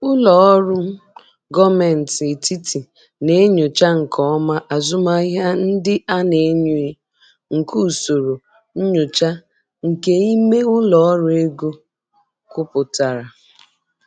Ụlọ ọrụ gọọmenti etiti na-enyocha nke ọma azụmahịa ndị a na-enyo nke usoro nyocha nke ime ụlọ ọrụ ego kwupụtara.